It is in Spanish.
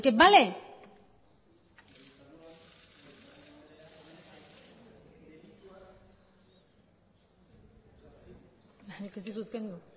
así que vale